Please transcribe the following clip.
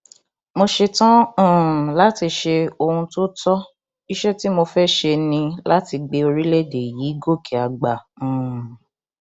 mo ṣetán um láti ṣe ohun tó tó iṣẹ tí mo fẹẹ ṣe ni láti gbé orílẹèdè yìí gòkè àgbà um